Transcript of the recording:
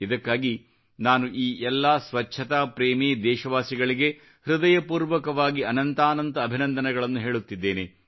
ಇದಕ್ಕಾಗಿ ನಾನು ಈ ಎಲ್ಲಾ ಸ್ವಚ್ಚತಾ ಪ್ರೇಮಿ ದೇಶವಾಸಿಗಳಿಗೆ ಹೃದಯಪೂರ್ವಕವಾಗಿ ಅನಂತಾನಂತ ಅಭಿನಂದನೆಗಳನ್ನು ಹೇಳುತ್ತಿದ್ದೇನೆ